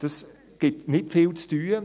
Dies gibt nicht viel zu tun;